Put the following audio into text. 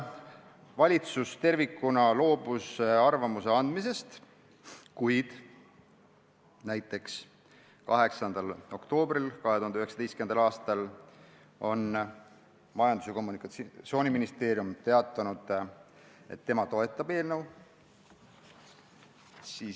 Valitsus tervikuna loobus arvamuse andmisest, kuid näiteks 8. oktoobril 2019. aastal teatas Majandus- ja Kommunikatsiooniministeerium, et tema toetab eelnõu.